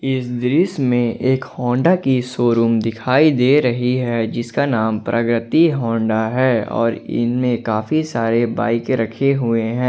इस दृश्य में एक होंडा की शोरूम दिखाई दे रही है जिसका नाम प्रगति होंडा है और इनमें काफी सारे बाइके रखे हुए है।